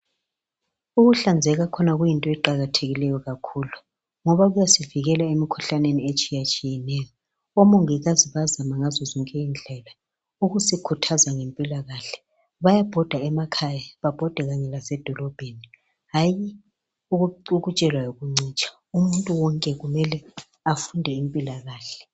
Ukuhlanzeka khona kuyinto eqakathekileyo kakhulu ngoba kuyasivikela emikhuhlaneni etshiya tshiyeneyo omongikazi bayazama ngazo zonke indlela ukusikhuthaza ngempila kahle bayabhoda emakhaya babhode kanye lasedolobheni hayi ukutshelwa yikuncitshwa umuntu wonke kumele afunde impila kahle